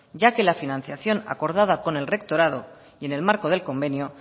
ya que la financiación acordada con el rectorado y en el marco del convenio